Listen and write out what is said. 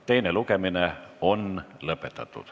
Teine lugemine on lõpetatud.